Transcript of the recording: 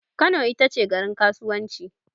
Kano itace garin kasuwanci